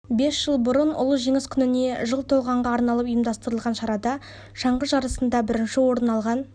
бес жыл бұрын ұлы жеңіс күніне жыл толғанға арналып ұйымдастырылған шарада шаңғы жарысында бірінші орын алған